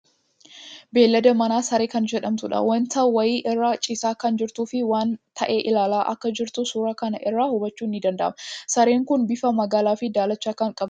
Beeylada manaa Saree kan jedhamtuudha. Wanta wayii irra ciisaa kan jirtuu fii waan ta'e ilaalaa akka jirtu suuraa kana irraa hubachuun ni danda'ama. Sareen kuni bifa magaalaa fii daalacha kan qabduudha.